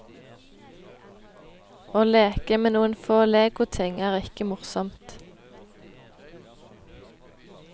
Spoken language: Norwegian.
Å leke med noen få legoting er ikke morsomt.